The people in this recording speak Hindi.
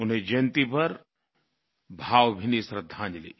उनकी जयन्ती पर भावभीनी श्रद्धांजलि